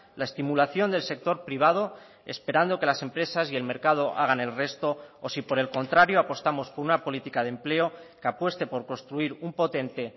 la estimulación del sector privado esperando que las empresas y el mercado hagan el resto o si por el contrario apostamos por una política de empleo que apueste por construir un potente